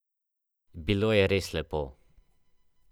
Bilo je res lepo.